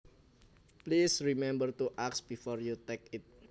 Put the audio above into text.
Please remember to ask before you take it